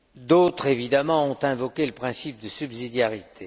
D'autres, évidemment, ont invoqué le principe de subsidiarité.